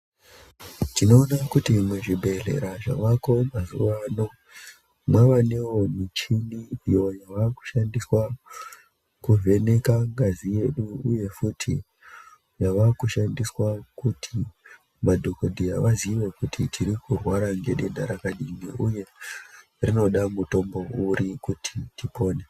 Tinoona kuti muzvibhedhlera zvavako mazuwa ano, mwavanewo michini iyo yava kushandiswa kuvheneka ngazi yedu, uye futi yava kushandiswa kuti madhokodheya vaziye kuti tiri kurwara ngedenda rakadini uye rinoda mutombo uri kuti tipone.